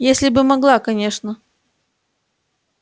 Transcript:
если бы могла конечно